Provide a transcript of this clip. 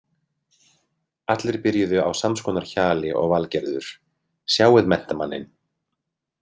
Allir byrjuðu á sams konar hjali og Valgerður: Sjáið menntamanninn.